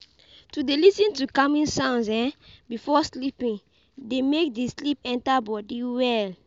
To de lis ten to calming sounds before sleeping de make di sleep enter body well